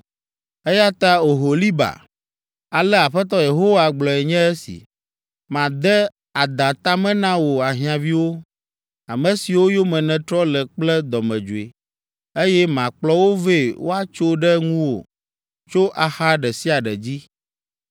“Eya ta Oholiba, ale Aƒetɔ Yehowa gblɔe nye si, ‘Made ada ta me na wò ahiãviwo, ame siwo yome nètrɔ le kple dɔmedzoe, eye makplɔ wo vɛ woatso ɖe ŋuwò tso axa ɖe sia ɖe dzi.